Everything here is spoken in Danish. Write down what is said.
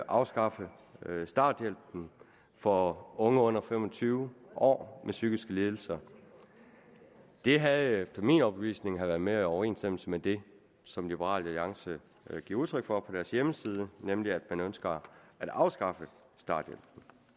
afskaffe starthjælpen for unge under fem og tyve år med psykiske lidelser det havde efter min overbevisning været mere i overensstemmelse med det som liberal alliance giver udtryk for på deres hjemmeside nemlig at man ønsker at afskaffe starthjælpen